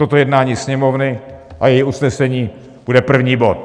Toto jednání Sněmovny a její usnesení bude první bod.